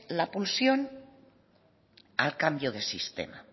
la pulsión al cambio de sistema